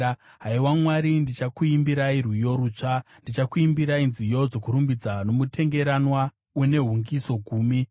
Haiwa Mwari, ndichakuimbirai rwiyo rutsva; ndichakuimbirai nziyo dzokurumbidza nomutengeranwa une hungiso gumi,